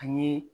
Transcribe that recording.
Ani